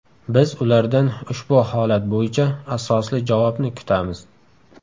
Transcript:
Biz ulardan ushbu holat bo‘yicha asosli javobni kutamiz.